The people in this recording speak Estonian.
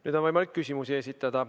Nüüd on võimalik küsimusi esitada.